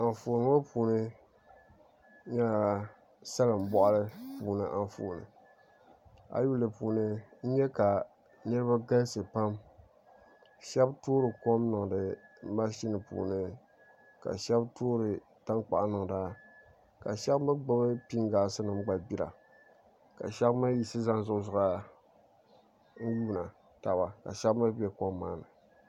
Anfooni ŋo puuni nyɛla salin boɣali puuni Anfooni ayi lihi di puuni n nyɛ ka niraba galisi pam shab toori kom niŋdi mashini puuni ka shab toori tankpaɣu niŋda ka shab mii gbubi pingaasi nim gba gbira ka shab mii yiɣisi zani zuɣusaa n yuundi taba ka shab mii bɛ kom maa ni